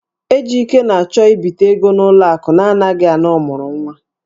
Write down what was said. Ejike na-achọ ibite ego n'ụlọ akụ na-anaghị ana ọmụrụnwa.